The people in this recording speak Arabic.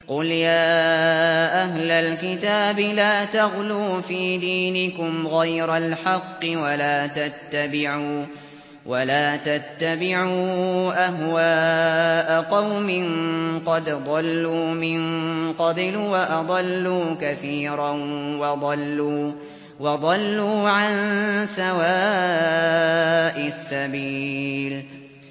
قُلْ يَا أَهْلَ الْكِتَابِ لَا تَغْلُوا فِي دِينِكُمْ غَيْرَ الْحَقِّ وَلَا تَتَّبِعُوا أَهْوَاءَ قَوْمٍ قَدْ ضَلُّوا مِن قَبْلُ وَأَضَلُّوا كَثِيرًا وَضَلُّوا عَن سَوَاءِ السَّبِيلِ